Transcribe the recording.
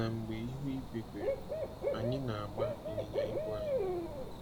Na mgbe ihu igwe kwere, anyị na-agba ịnyịnya igwe anyị.